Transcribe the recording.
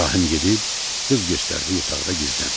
İbrahim gedib, qız göstərdiyi otaqda gizləndi.